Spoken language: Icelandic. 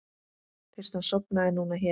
Fyrst hann sofnaði núna hér.